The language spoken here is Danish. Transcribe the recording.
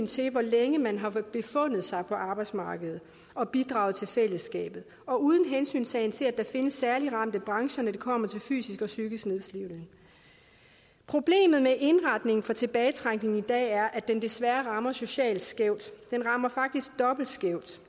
til hvor længe man har befundet sig på arbejdsmarkedet og bidraget til fællesskabet og uden hensyntagen til at der findes særligt ramte brancher når det kommer til fysisk og psykisk nedslidning problemet med indretningen af tilbagetrækningen i dag er at den desværre rammer socialt skævt den rammer faktisk dobbelt skævt